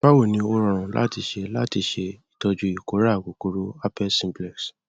báwo ni ó rọrùn láti ṣe láti ṣe ìtọjú ìkórà kòkò rò herpes simplex